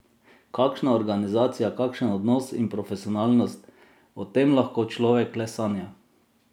Kakšna organizacija, kakšen odnos in profesionalnost, o tem lahko človek le sanja.